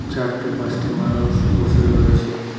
চারটে পাঁচটে মানুষ বসে রয়েছে।